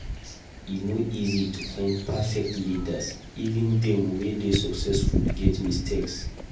E no easy to find perfect leaders; even dem wey dey successful get mistakes.